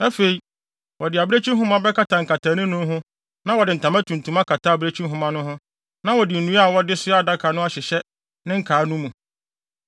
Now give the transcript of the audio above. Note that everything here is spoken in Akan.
Afei, wɔde abirekyi nhoma bɛkata nkataanim no ho na wɔde ntama tuntum akata abirekyi nhoma no ho na wɔde nnua a wɔde soa adaka no ahyehyɛ ne nkaa no mu.